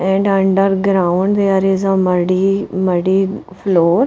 and underground there is a muddy-muddy floor.